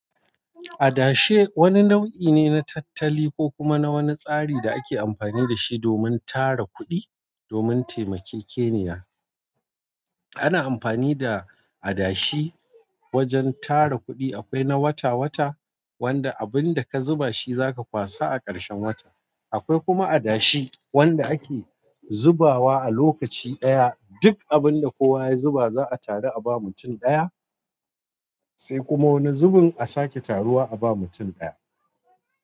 Adashe wani nau'i ne na tattali ko kuma na wani tsari da ake amfani dashi domin tara kudi domin taimakeke niya amfani da adashi wajen tara kuɗi, akwai na wata-wata wanda abin da ka zuba shi zaka kwasa a karshen wata. Akwai kuma adashi wanda ake zubawa a lokaci daya duk abin da kowa ya zuba za a taru a bawa mutum daya sai kuma wani zubin a sake taruwa a bawa mutum daya.